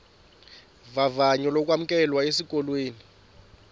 vavanyo lokwamkelwa esikolweni